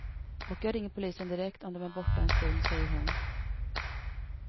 Och jag ringer polisen direkt om de är borta en stund, säger hon.